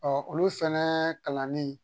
olu fɛnɛ kalanni